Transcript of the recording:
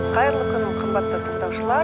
қайырлы күн қымбатты тындаушылар